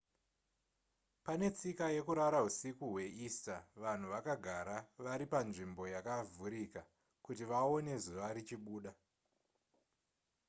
pane tsika yekurara husiku hweeaster vanhu vakagara vari panzvimbo yakavhurika kuti vaone zuva richibuda